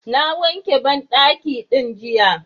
Na wanke banɗaki ɗin jiya.